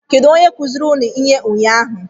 Kedụ onye kụziri unu ihe ụnyaahụ?